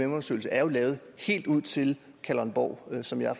undersøgelse er jo lavet helt ud til kalundborg som jeg